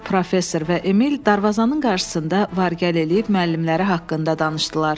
Professor və Emil darvazanın qarşısında var-gəl eləyib müəllimləri haqqında danışdılar.